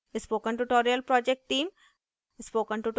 spoken tutorial project team